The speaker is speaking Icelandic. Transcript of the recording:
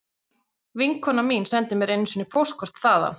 Vinkona mín sendi mér einu sinni póstkort þaðan